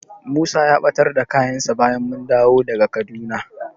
Musa ya ɓatar da kayansa bayan mun dawo daga Kaduna.